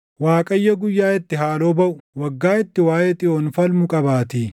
Waaqayyo guyyaa itti haaloo baʼu, waggaa itti waaʼee Xiyoon falmu qabaatii.